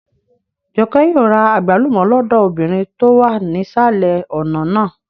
Jọkẹ́ yóò ra àgbálùmọ́ lọ́dọ̀ obìnrin tó wà nísàlẹ̀ ọ̀nà náà